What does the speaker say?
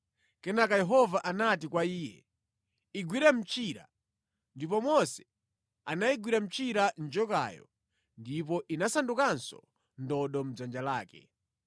Kenaka Yehova anati kwa iye, “Igwire mtchira.” Ndipo Mose anayigwira mchira njokayo ndipo inasandukanso ndodo mʼdzanja lake.